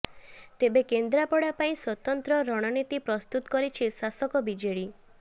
ତେବେ କେନ୍ଦ୍ରାପଡା ପାଇଁ ସ୍ୱତନ୍ତ୍ର ରଣନୀତି ପ୍ରସ୍ତୁତ କରିଛି ଶାସକ ବିଜେଡି